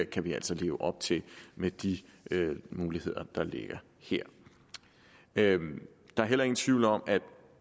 kan vi altså leve op til med de muligheder der ligger her der er heller ingen tvivl om